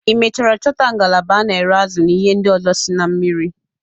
Ị mechara chọta ngalaba a na-ere azụ na ihe ndị ọzọ si na mmiri?